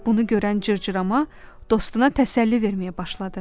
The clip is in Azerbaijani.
Bunu görən cırcırama dostuna təsəlli verməyə başladı.